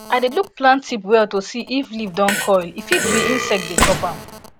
i dey look plant tip well to see if leaf don curl e fit be insect dey chop am